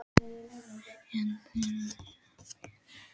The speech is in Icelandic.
En þér er ekki sama Pétur.